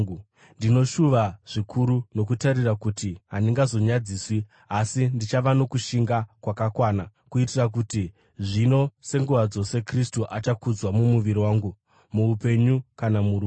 Ndinoshuva zvikuru nokutarira kuti handingazonyadziswi, asi ndichava nokushinga kwakakwana kuitira kuti zvino senguva dzose Kristu achakudzwa mumuviri wangu, muupenyu kana murufu.